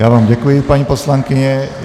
Já vám děkuji, paní poslankyně.